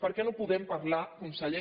per què no podem parlar conseller